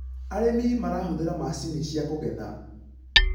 arĩmi marahuthira macinĩ cia kugetha